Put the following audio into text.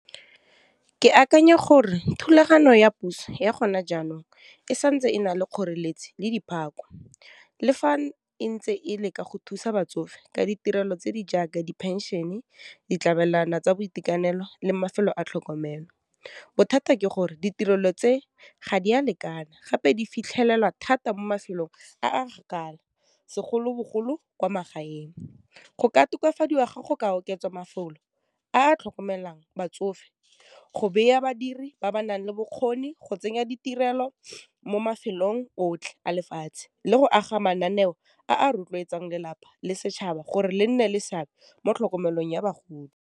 Ke akanya gore thulaganyo ya puso ya gone jaanong, e santse e na le kgoreletsi le diphako, le fa e ntse e le ka go thusa batsofe ka ditirelo tse di jaaka di phenšene, ditlamelwana tsa boitekanelo, le mafelo a tlhokomelo, bothata ke gore ditirelo tse ga di a lekana gape di fitlhelelwa thata mo mafelong a kgakala segolobogolo kwa magaeng. Go ka tokafadiwa ga go ka oketswa mafolo a a tlhokomelang batsofe, go beya badiri ba ba nang le bokgoni, go tsenya ditirelo mo mafelong otlhe a lefatshe, le go aga mananeo a rotloetsang lelapa le setšhaba gore le nne le seabe mo tlhokomelong ya bagodi.